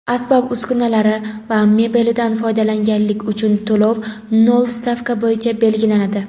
asbob-uskunalari va mebelidan foydalanganlik uchun to‘lov "nol" stavka bo‘yicha belgilanadi.